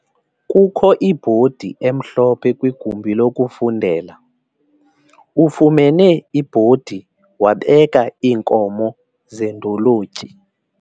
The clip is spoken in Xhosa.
Kukho ibhodi emhlophe kwigumbi lokufundela. ufumene ibhodi wabeka iinkomo zendolotyi